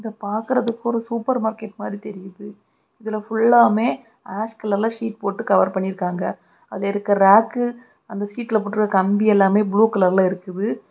இத பாக்குறதுக்கு ஒரு சூப்பர் மார்க்கெட் மாரி தெரியுது. இதுல பியுலாமே ஆஷ் கலர்ல சீட் போட்டு கவர் பண்ணி இருக்காங்க. அதுல இருக்க ராக்கு அந்த ஷீட்ல போட்ருக்க கம்பி எல்லாமே ப்ளூ கலர் இருக்குது.